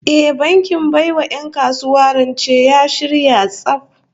Eh, bankin bai wa 'yan kasuwa rance ya shirya tsaf